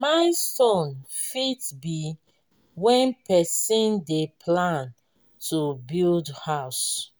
milestone fit be when person dey plan to build house